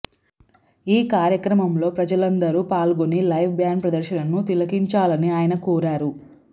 ఈ కార్యక్రమంలో ప్రజలందరు పాల్గొని లైవ్ బ్యాండ్ ప్రదర్శనను తిలకించాలని ఆయన కోరారు